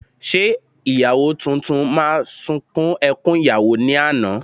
Ṣé ìyàwó tuntun máa ṣun ẹkún ìyàwó ní àná?